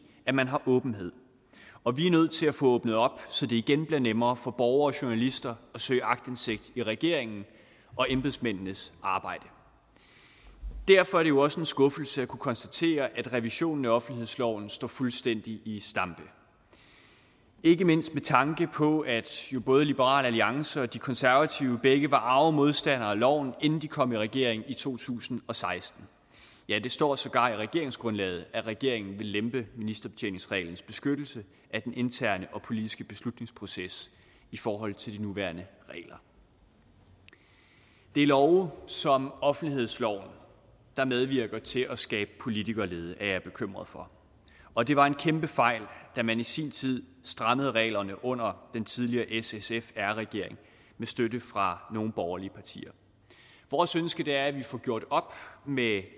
at man har åbenhed og vi er nødt til at få åbnet op så det igen bliver nemmere for borgere og journalister at søge aktindsigt i regeringen og embedsmændenes arbejde derfor er det jo også en skuffelse at kunne konstatere at revisionen af offentlighedsloven står fuldstændig i stampe ikke mindst med tanke på at både liberal alliance og de konservative begge var arge modstandere af loven inden de kom i regering i to tusind og seksten ja det står sågar i regeringsgrundlaget at regeringen vil lempe ministerbetjeningsreglens beskyttelse af den interne og politiske beslutningsproces i forhold til de nuværende regler det er love som offentlighedsloven der medvirker til at skabe politikerlede er jeg bekymret for og det var en kæmpe fejl da man i sin tid strammede reglerne under den tidligere s sf r regering med støtte fra nogle borgerlige partier vores ønske er at vi får gjort op med